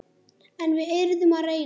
En við yrðum að reyna.